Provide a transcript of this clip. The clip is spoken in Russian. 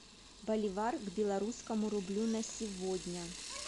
боливар к белорусскому рублю на сегодня